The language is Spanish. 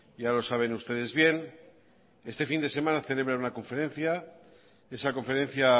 ya lo saben ustedes bien este fin de semana celebra una conferencia esa conferencia